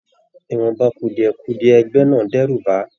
Ìwọnba kudiẹ-kudiẹ ẹgbẹ náà d'ẹru bá a.